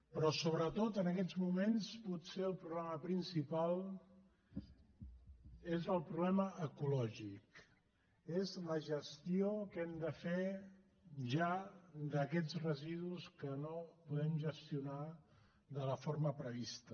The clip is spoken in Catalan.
però sobretot en aquests moments potser el problema principal és el problema ecològic és la gestió que hem de fer ja d’aquests residus que no podem gestionar de la forma prevista